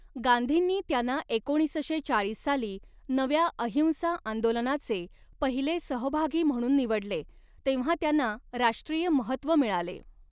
गांधींनी त्यांना एकोणीसशे चाळीस साली नव्या अहिंसा आंदोलनाचे पहिले सहभागी म्हणून निवडले तेव्हा त्यांना राष्ट्रीय महत्त्व मिळाले.